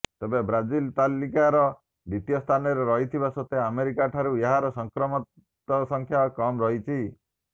ତେବେ ବ୍ରାଜିଲ ତାଲିକାର ଦ୍ୱିତୀୟ ସ୍ଥାନରେ ରହିଥିବା ସତ୍ତ୍ୱେ ଆମେରିକାରଠାରୁ ଏଠାରେ ସଂକ୍ରମତଙ୍କ ସଂଖ୍ୟା କମ୍ ରହିଛି